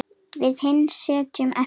Við hin sitjum eftir.